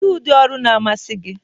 Kedu ụdị ụlọ n'amasị gị?